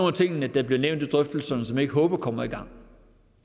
af tingene der bliver nævnt i drøftelserne som jeg ikke håber kommer i gang